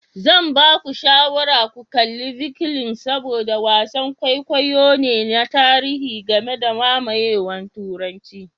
Zan ba ku shawarar ku kalli Vikings saboda wasan kwaikwayo ne na tarihi game da mamayewar Turanci.